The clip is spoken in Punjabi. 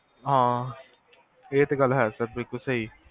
ਹਾਂ ਇਹ ਤੇ ਗਲ ਹੈ ਸਰ ਬਿਲਕੁਲ